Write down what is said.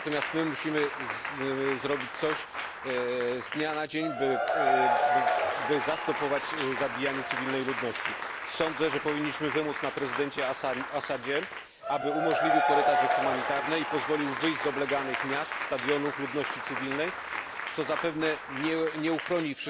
Natomiast my musimy zrobić coś natychmiast, aby powstrzymać zabijanie cywilnej ludności. Sądzę, że powinniśmy wymóc na prezydencie el Assadzie, aby umożliwił korytarze humanitarne i pozwolił wyjść z obleganych miast, stadionów ludności cywilnej, co zapewne nie ochroni